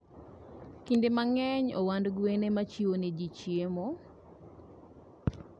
Kinde mang'eny, ohand gwen ema chiwonegi chiemo.